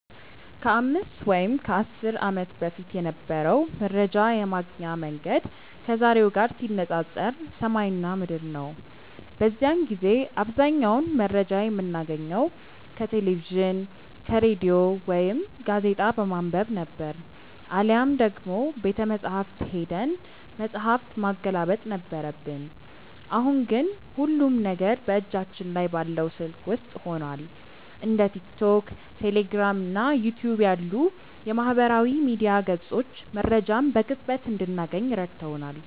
ከ5 ወይም ከ10 ዓመት በፊት የነበረው መረጃ የማግኛ መንገድ ከዛሬው ጋር ሲነፃፀር ሰማይና ምድር ነው። በዚያን ጊዜ አብዛኛውን መረጃ የምናገኘው ከቴሌቪዥን፣ ከሬዲዮ ወይም ጋዜጣ በማንበብ ነበር፤ አሊያም ደግሞ ቤተመጻሕፍት ሄደን መጽሐፍ ማገላበጥ ነበረብን። አሁን ግን ሁሉም ነገር በእጃችን ላይ ባለው ስልክ ውስጥ ሆኗል። እንደ ቲክቶክ፣ ቴሌግራም እና ዩቲዩብ ያሉ የማህበራዊ ሚዲያ ገጾች መረጃን በቅጽበት እንድናገኝ ረድተውናል።